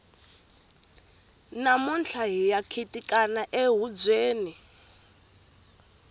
namuntlha hiya khitikana ehubyeni